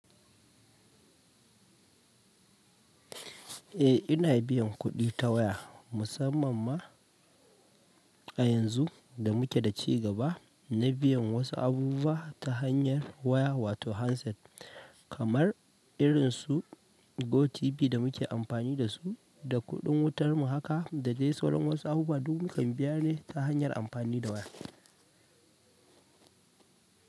Eh ina biyan kuɗi ta waya musamman ma a yanzu da muke da cigaba na biyan wasu abubuwa ta hanyar waya wato handset kamar irin su GoTV da muke amfani da su da kuɗin wutar mu. Haaka da de sauran wasu abubuwa du mukan biya dai ta hanyar amfani da waya.